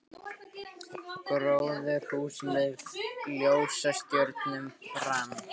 Gróðurhús með jólastjörnum brann